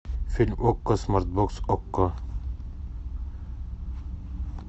фильм окко смарт бокс окко